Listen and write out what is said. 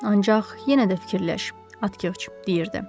Ancaq yenə də fikirləş, Atqıç, deyirdi.